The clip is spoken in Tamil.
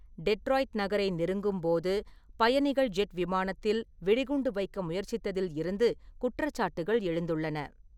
டெட்ராய்ட் நகரை நெருங்கும் போது பயணிகள் ஜெட் விமானத்தில் வெடிகுண்டு வைக்க முயற்சித்ததில் இருந்து குற்றச்சாட்டுகள் எழுந்துள்ளன.